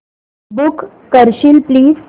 book करशील please